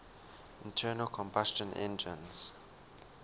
internal combustion engines